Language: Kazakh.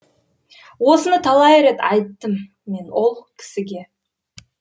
осыны талай рет айттым мен ол кісіге